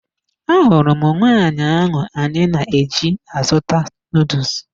Ahụrụ m nwaanyị ahụ anyị na-eji azụta nuduls